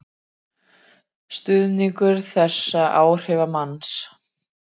Stuðningur þessa áhrifamanns